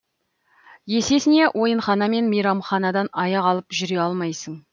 есесіне ойынхана мен мейрамханадан аяқ алып жүре алмайсың